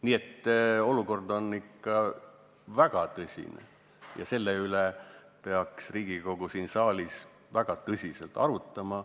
Nii et olukord on ikka väga tõsine ja seda peaks Riigikogu siin saalis väga tõsiselt arutama.